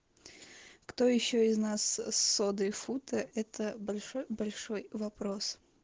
кто ещё из нас содой фута это большой большой вопрос